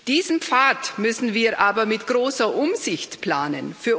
Diesen Pfad müssen wir aber mit großer Umsicht planen.